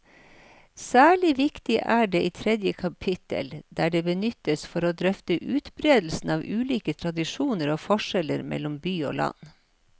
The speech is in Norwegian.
Særlig viktig er det i tredje kapittel, der det benyttes for å drøfte utbredelsen av ulike tradisjoner og forskjeller mellom by og land.